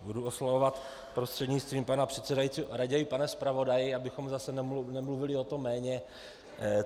Budu oslovovat prostřednictvím pana předsedajícího raději pane zpravodaji, abychom zase nemluvili o tom jméně.